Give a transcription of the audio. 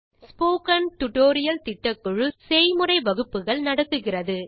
spoken tutorial திட்டக்குழு செய்முறை வகுப்புகள் நடத்துகிறது